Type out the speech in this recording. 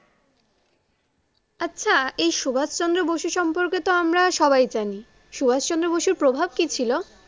আচ্ছা এই সুভাষ চন্দ্র বসু সম্পকে তো আমরা সবাই যানি, এই সুভাষ চন্দ্র বসু প্রভাব কি ছিলো?